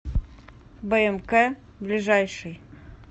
бмк ближайший